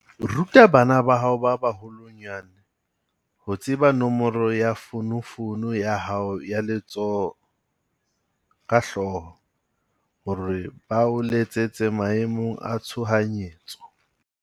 Ruta bana ba hao ba baholwanyane ho tseba nomoro ya fonofono ya hao ya letsoho ka hlooho, hore ba o letsetse maemong a tshohanyetso.